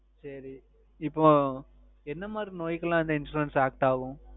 சரி இப்போ என்ன மாதிரி நோய் கெல்லாம் இந்த Insurance Active ஆகும்